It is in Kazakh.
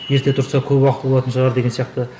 ерте тұрса көп уақыты болатын шығар деген сияқты